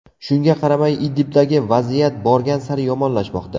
Shunga qaramay, Idlibdagi vaziyat borgan sari yomonlashmoqda.